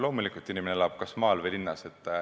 Loomulikult, inimene elab kas maal või linnas.